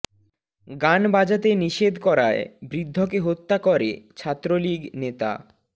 গান বাজাতে নিষেধ করায় বৃদ্ধকে হত্যা করে ছাত্রলীগ নেতা